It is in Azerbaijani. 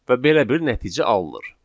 Və belə bir nəticə alınır.